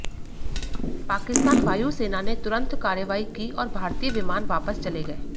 पाकिस्तान वायु सेना ने तुरंत कार्रवाई की और भारतीय विमान वापस चले गए